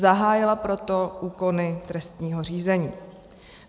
Zahájila proto úkony trestního řízení.